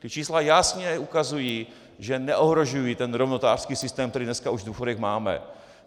Ta čísla jasně ukazují, že neohrožují ten rovnostářský systém, který dneska už v důchodech máme.